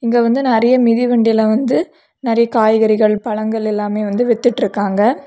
இங்க வந்து நிறைய மிதிவண்டி எல்லா வந்து நிறைய காய்கறிகள் பழங்கள் எல்லாமே வித்துட்ருக்காங்க.